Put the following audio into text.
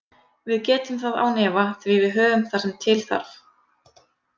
Við getum það án efa því við höfum það sem til þarf.